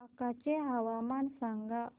बांका चे हवामान सांगा